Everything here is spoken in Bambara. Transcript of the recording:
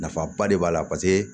Nafaba de b'a la paseke